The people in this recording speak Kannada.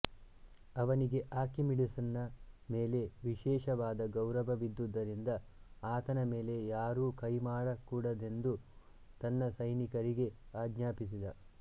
ಅವನಿಗೆ ಆರ್ಕಿಮಿಡೀಸ್ನ ಮೇಲೆ ವಿಶೇಷವಾದ ಗೌರವವಿದ್ದುದರಿಂದ ಆತನ ಮೇಲೆ ಯಾರೂ ಕೈಮಾಡಕೂಡದೆಂದು ತನ್ನ ಸೈನಿಕರಿಗೆ ಆಜ್ಞಾಪಿಸಿದ